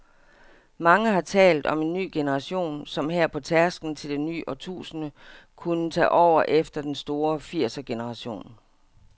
Mange har talt om en ny generation, som her på tærsklen til det nye årtusind kunne tage over efter den store firsergeneration.